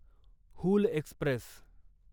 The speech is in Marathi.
हूल एक्स्प्रेस